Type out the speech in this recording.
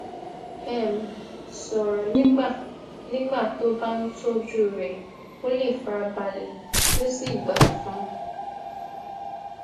um soro nígbà nígbà tó bá ń tójú rè kó lè farabale ki o si gba fun